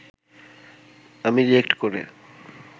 আমি রিঅ্যাক্ট করে